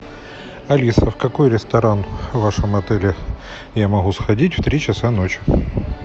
алиса в какой ресторан в вашем отеле я могу сходить в три часа ночи